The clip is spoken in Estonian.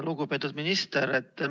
Lugupeetud minister!